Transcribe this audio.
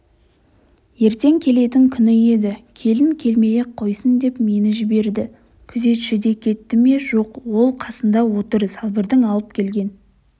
ертең келетін күні еді келін келмей-ақ қойсын деп мені жіберді күзетші де кетті ме жоқ ол қосында отыр салбырдың алып келген